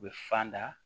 U bɛ fan da